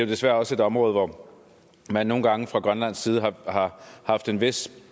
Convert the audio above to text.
desværre også et område hvor man nogle gange fra grønlands side har haft en vis